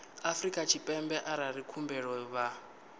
afrika tshipembe arali khumbelo vha